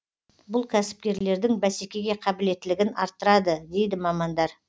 бұл кәсіпкерлердің бәсекеге қабілеттілігін арттырады дейді мамандар